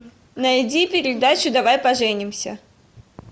найди передачу давай поженимся